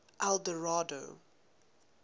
eldorado